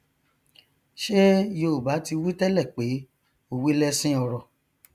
ṣé yoòbá ti wí tẹlẹ pé òwe lẹṣin ọrọ